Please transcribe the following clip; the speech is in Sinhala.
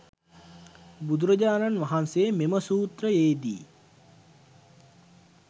බුදුරජාණන් වහන්සේ මෙම සූත්‍රයේ දී